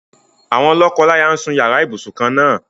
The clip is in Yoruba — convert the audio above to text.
Àwọn lọ́kọláyà ń sun yàrá ibùsùn kan-ná-àn.